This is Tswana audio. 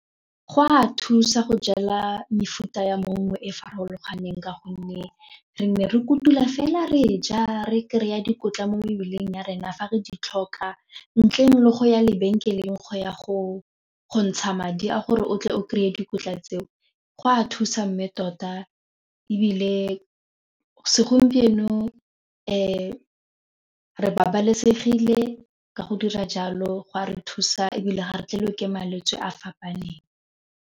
Go a thusa go jala mefuta ya mongwe e e farologaneng ka gonne re ne re kutula fela re ja re kry-a dikotla mo mebileng ya rena fa re di tlhoka ntleng le go ya lebenkeleng go ya go go ntsha madi a gore o tle o kry-e dikotla tseo go a thusa mme tota ebile segompieno re babalesegile ka go dira jalo go a re thusa ebile ga re tlhagelwe ke malwetse a fapaneng.